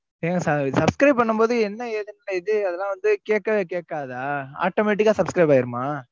ஏங்க, subscribe பண்ணும்போது, என்ன ஏதுன்னு இது? அதெல்லாம் வந்து, கேட்கவே கேட்காதா? automatic ஆ subscribe ஆயிடுமா?